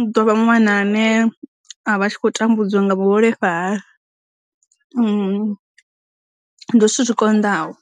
u dovha ṅwana ane a vha khou tambudzwa nga muholefhali ndi zwithu zwi konḓaho.